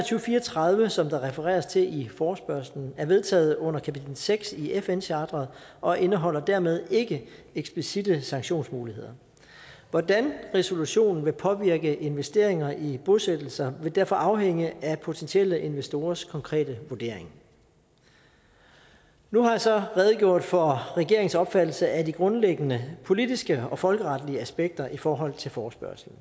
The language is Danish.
fire og tredive som der refereres til i forespørgslen er vedtaget under kapitel seks i fn charteret og indeholder dermed ikke eksplicitte sanktionsmuligheder hvordan resolutionen vil påvirke investeringer i bosættelser vil derfor afhænge af potentielle investorers konkrete vurdering nu har jeg så redegjort for regeringens opfattelse af de grundlæggende politiske og folkeretlige aspekter i forhold til forespørgslen